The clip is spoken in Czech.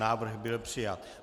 Návrh byl přijat.